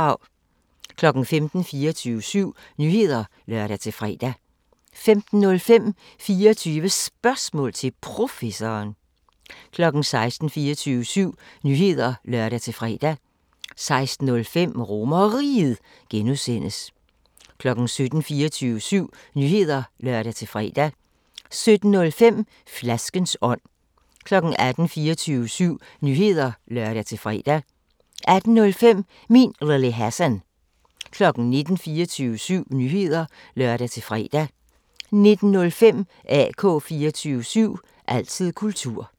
15:00: 24syv Nyheder (lør-fre) 15:05: 24 Spørgsmål til Professoren 16:00: 24syv Nyheder (lør-fre) 16:05: RomerRiget (G) 17:00: 24syv Nyheder (lør-fre) 17:05: Flaskens ånd 18:00: 24syv Nyheder (lør-fre) 18:05: Min Lille Hassan 19:00: 24syv Nyheder (lør-fre) 19:05: AK 24syv – altid kultur